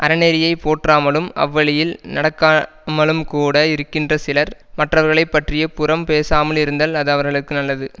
அறநெறியைப் போற்றாமலும் அவ்வழியில் நடக்கா மலும்கூட இருக்கின்ற சிலர் மற்றவர்களைப் பற்றி புறம் பேசாமல் இருந்தல் அது அவர்களுக்கு நல்லது